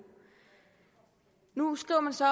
nu skriver man så